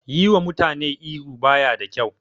Yi wa mutane ihu baya da kyau